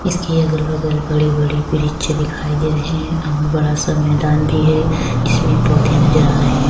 اس کے گل بغل بڑے بڑے برج دکھائی دے رہے ہیں -اور بڑا سا میدان بھی ہے جس میں پودے نظر ارہے ہیں-